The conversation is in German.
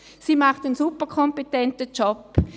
Sie macht einen sehr kompetenten Job.